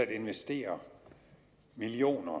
at investere millioner af